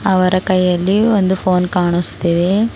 ಅವರ ಕೈಯಲ್ಲಿ ಒಂದು ಫೋನ್ ಕಾಣುಸ್ತಿದೆ.